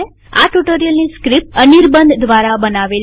આ ટ્યુ્ટોરીઅલની સ્ક્રીપ્ટ અનીરબન દ્વારા બનાવેલ છે